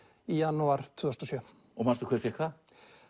í janúar tvö þúsund og sjö og manstu hver fékk það